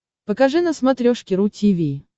покажи на смотрешке ру ти ви